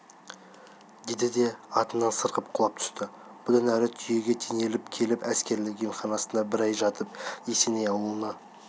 деді де атынан сырғып құлап түсті бұдан әрі түйеге теңделіп келіп әскерлік емханасында бір ай жатып есеней ауылына